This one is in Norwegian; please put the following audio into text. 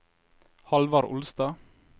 Hallvard Olstad